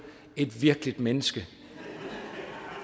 et virkeligt menneske